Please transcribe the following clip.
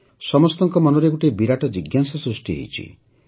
ସମସ୍ତଙ୍କ ମନରେ ଗୋଟିଏ ବିରାଟ ଜିଜ୍ଞାସା ସୃଷ୍ଟି ହୋଇଛି